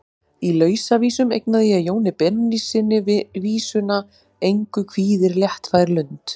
Í Lausavísum eignaði ég Jóni Benónýssyni vísuna: Engu kvíðir léttfær lund.